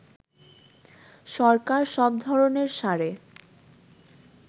সরকার সব ধরণের সারে